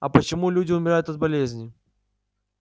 а почему люди умирают от болезней